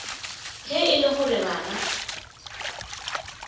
ge e le gore bana